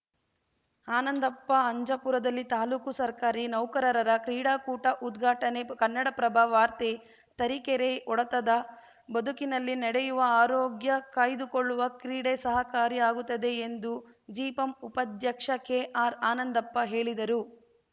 ಆನಂದಪ್ಪ ಅಂಜಪುರದಲ್ಲಿ ತಾಲೂಕು ಸರ್ಕಾರಿ ನೌಕರರ ಕ್ರೀಡಾಕೂಟ ಉದ್ಘಾಟನೆ ಕನ್ನಡಪ್ರಭ ವಾರ್ತೆ ತರೀಕೆರೆ ಒಡತದ ಬದುಕಿನಲ್ಲಿ ನಡೆಯುವ ಆರೋಗ್ಯ ಕಾಯ್ದುಕೊಳ್ಳುವ ಕ್ರೀಡೆ ಸಹಕಾರಿ ಆಗುತ್ತದೆ ಎಂದು ಜಿಪಂ ಉಪಾಧ್ಯಕ್ಷ ಕೆಆರ್‌ ಆನಂದಪ್ಪ ಹೇಳಿದರು